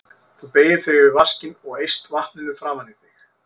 Þú beygir þig yfir vaskinn og eyst vatninu framan í þig.